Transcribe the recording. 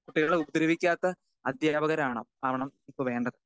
Speaker 2 കുട്ടികളെ ഉപദ്രവിക്കാത്ത അധ്യാപകരാകണം ആവണം ഇപ്പോ വേണ്ടത്.